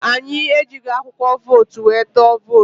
Anyị ejighi akwụkwọ vootu wee tụọ vootu